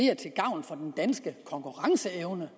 er til gavn for den danske konkurrenceevne